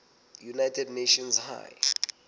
united nations high